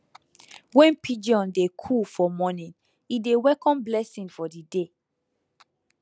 when pigeon dey coo for morning e dey welcome blessing for the day